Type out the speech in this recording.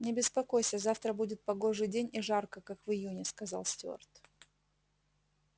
не беспокойся завтра будет погожий день и жарко как в июне сказал стюарт